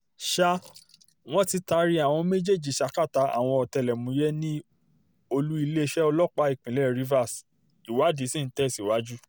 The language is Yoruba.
ṣá wọn ti taari àwọn méjèèjì sàkátà àwọn ọ̀tẹlẹ̀múyẹ́ ni olú-iléeṣẹ́ ọlọ́pàá ìpínlẹ̀ rivers ìwádìí sì ti ń tẹ̀síwájú